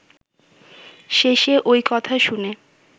শেষে ঐ কথা শুনে